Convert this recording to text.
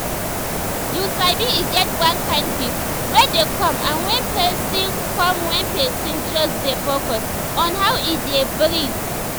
you sabi e get one kind peace wey dey come when person come when person just dey focus on how e dey breathe